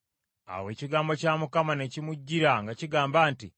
Awo ekigambo kya Mukama ne kimujjira nga kigamba nti,